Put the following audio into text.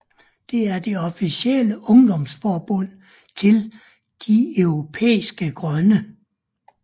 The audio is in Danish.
Det er det officielle ungdomsforbund til De Europæiske Grønne